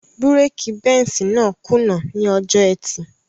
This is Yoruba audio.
Búrèkì Benz náà kùnà ní ọjọ́ ẹtì